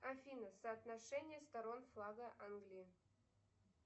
афина соотношение сторон флага англии